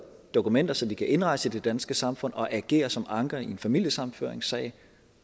dokumenter så de kan indrejse i det danske samfund og agere som anker i en familiesammenføringssag